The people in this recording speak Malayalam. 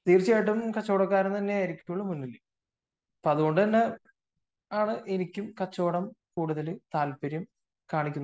കച്ചവടം ചെയ്ത ആൾ തന്നെ ആയിരിക്കും മുന്നിൽ അതുകൊണ്ട് തന്നെയാണ് എനിക്കും കച്ചവടം കൂടുതൽ താല്പര്യം കാണിക്കുന്നത്